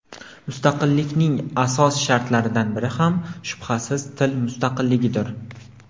Mustaqillikning asos shartlaridan biri ham, shubhasiz, til mustaqilligidir.